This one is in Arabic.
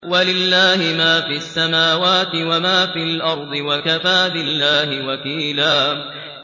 وَلِلَّهِ مَا فِي السَّمَاوَاتِ وَمَا فِي الْأَرْضِ ۚ وَكَفَىٰ بِاللَّهِ وَكِيلًا